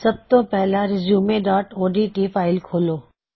ਸਬ ਤੋਂ ਪਹਿਲਾ resume dot O D T resumeਓਡਟ ਫਾਇਲ ਖੋਲੌ